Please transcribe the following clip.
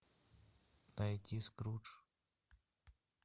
найти скрудж